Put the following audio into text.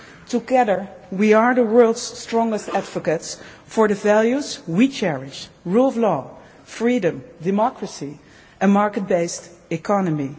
strong. Together, we are the world's strongest advocates for the values we cherish the rule of law, freedom, democracy, a market based economy.